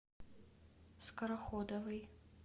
скороходовой